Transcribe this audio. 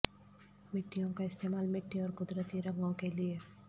مٹیوں کا استعمال مٹی اور قدرتی رنگوں کے لئے